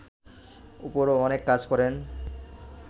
উপরও অনেক কাজ করেন